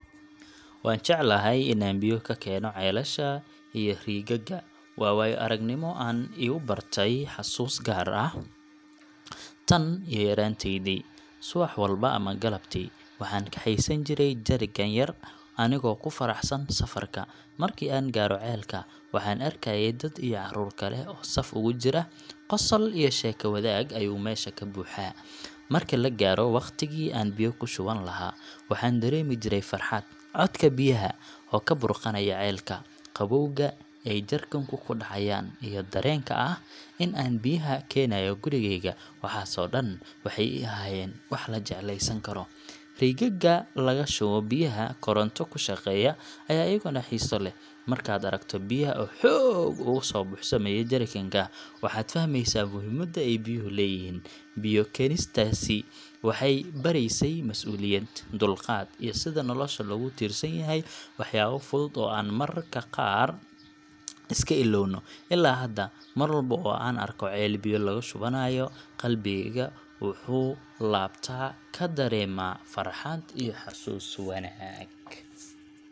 Waan jeclahay in aan biyo ka keeno ceelasha iyo riigagga. Waa waayo aragnimo aan igu beertay xasuus gaar ah tan iyo yaraantaydii. Subax walba ama galabtii, waxaan kaxaysan jiray jerrycan yar anigoo ku faraxsan safarka. Markii aan gaaro ceelka, waxaan arkayay dad iyo caruur kale oo saf ugu jira, qosol iyo sheeko wadaag ayuu meesha ka buuxaa. Marka la gaaro wakhtigii aan biyo ka shuban lahaa, waxaan dareemi jiray farxad. Codka biyaha oo ka burqanaya ceelka, qabowga ay jerrycanka ku dhacayaan, iyo dareenka ah in aan biyahan keenayo gurigayga waxaas oo dhan waxay ii ahaayeen wax la jecleysan karo. Riigagga laga shubo biyaha koronto ku shaqeeya ayaa iyaguna xiiso lahaa. Markaad aragto biyaha oo xoog ugu soo buuxsamaya jerrycan ka, waxaad fahmaysaa muhiimadda ay biyuhu leeyihiin. Biyo keenistaasi waxay baraysay masuuliyad, dulqaad, iyo sida nolosha loogu tiirsan yahay waxyaabo fudud oo aan mararka qaar iska ilowno. Ilaa hadda, mar walba oo aan arko ceel biyo laga shubanayo, qalbigayga wuxuu laabta ka dareemaa farxad iyo xasuus wanaag.